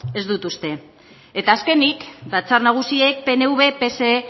ez dut uste eta azkenik batzar nagusiek pnv pse